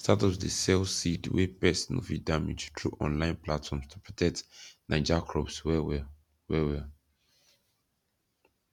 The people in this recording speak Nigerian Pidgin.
startups dey sell seed wey pests no fit damage through online platforms to protect naija crops well well well well